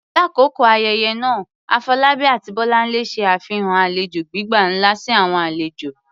Lakoko ayẹyẹ naa, Afolabi ati Bolanle ṣe afihan alejo gbigba nla si awọn alejo.